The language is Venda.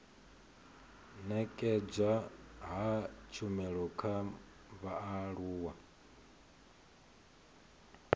nekedzwa ha tshumelo kha vhaaluwa